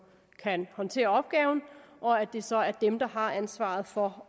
kan håndtere opgaven og at det så er dem der har ansvaret for